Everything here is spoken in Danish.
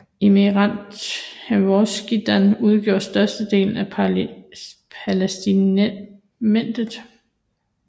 Emiratet Transjordanien udgjorde størstedelen af Palæstinamandatet